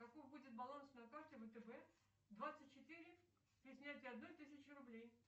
какой будет баланс на карте втб двадцать четыре при снятии одной тысячи рублей